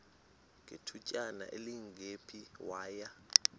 ngethutyana elingephi waya